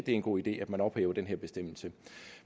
en god idé at man ophævede den her bestemmelse